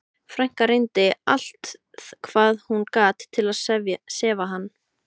Frænka reyndi allt hvað hún gat til að sefa hann.